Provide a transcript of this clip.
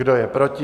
Kdo je proti?